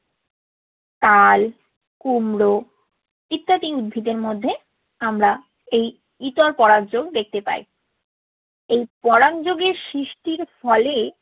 তাল, কুমড়ো ইত্যাদি উদ্ভিদের মধ্যে আমরা এই ইতর পরাগ যোগ দেখতে পাই। এই পরাগ যোগে সৃষ্টির ফলে